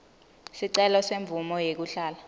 sicelo semvumo yekuhlala